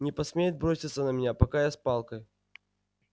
не посмеет броситься на меня пока я с палкой